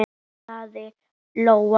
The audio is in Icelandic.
kallaði Lóa.